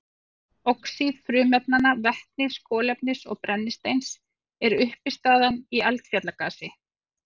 Oxíð frumefnanna vetnis, kolefnis og brennisteins eru uppistaðan í eldfjallagasi.